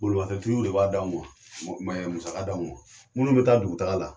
Bolimafɛn tigiw de b'a d'anw ma musaka d'anw ma munnu bɛ taa dugu taaga la.